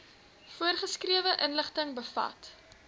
voorgeskrewe inligting bevat